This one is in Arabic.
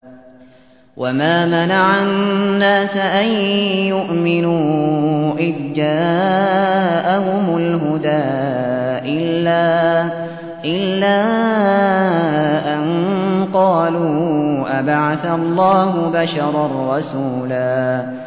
وَمَا مَنَعَ النَّاسَ أَن يُؤْمِنُوا إِذْ جَاءَهُمُ الْهُدَىٰ إِلَّا أَن قَالُوا أَبَعَثَ اللَّهُ بَشَرًا رَّسُولًا